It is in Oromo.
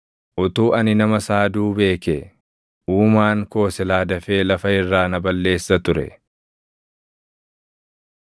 Utuu ani nama saaduu beekee, Uumaan koo silaa dafee lafa irraa na balleessa ture.